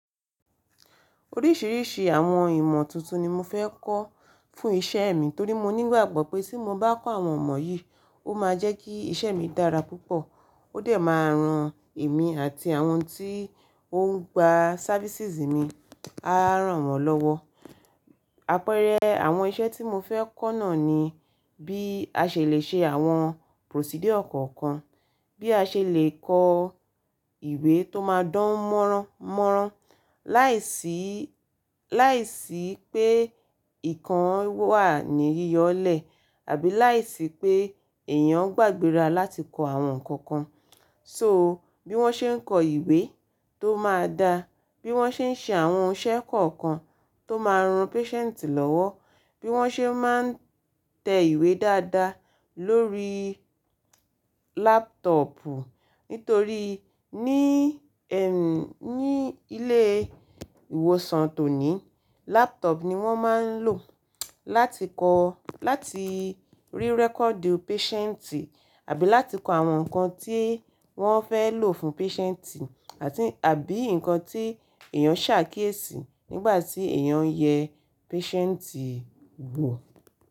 Oríṣìíríṣìí àwọn ìmọ̀ tuntun ni mo fẹ́ kọ́ fún iṣẹ́ mi torí mo ní ìgbàgbọ́ pé tí mo bá kọ́ àwọn ọ̀mọ̀ yìí, ó máa jẹ́ kí iṣẹ́ mi dára púpọ̀, ó dẹ̀ máa ran èmi àti àwọn tí ó ń gba ṣáfísìsì mi, á rán wọn lọ́wọ́. Àpẹẹrẹ àwọn iṣẹ́ tí mo fẹ́ kọ́ náà ni bí a ṣe lè ṣe àwọn procedure kọ̀ọ̀kan, bí a ṣe lè kọ ìwé tó máa dán mọ́ranmọ́ran láìsí, láìsí pé ìkan wà ní yíyọlẹ̀ àbí láìsí pé èèyàn gbàgbéra láti kọ àwọn nǹkan kan. So bí wọ́n ṣe ń kọ ìwé tó máa da, bí wọ́n ṣe ń ṣe àwọn iṣẹ́ kọ̀ọ̀kan tó máa ran pésẹ̀ǹtì lọ́wọ́, bí wọ́n ṣe máa ń tẹ ìwé dáadáa lórí lápútọ̀ọ̀pù nítorí ní, ẹ́, ní ilé ìwòsàn tòní, lápútọ̀ọ̀pù ni wọ́n máa ń lò láti kọ, láti rí rẹ́kọ̀du pésẹ̀ǹtì àbí láti kọ àwọn nǹkan tí wọ́n fẹ́ lò fún pésẹ̀ǹtì àti àbí nǹkan tí èèyàn ṣàkíyèsí nígbà tí èèyàn yẹ pésẹ̀ǹtì wò.